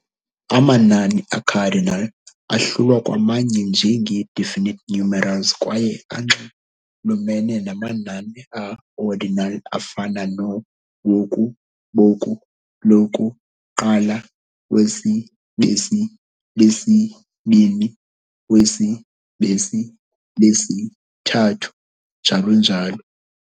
"Amanani" "a-cardinal ahlulwa kwamanye njengee-definite numerals kwaye anxulumene namanani a-ordinal, afana noo-woku, boku, loku, - qala, wesi, besi, lesi-bini, wesi, besi, lesi- thathu", njalo njalo.